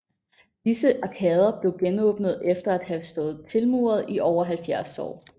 Disse arkader blev genåbnede efter at have stået tilmurede i over 700 år